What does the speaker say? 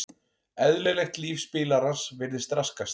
Eðlilegt líf spilarans virðist raskast.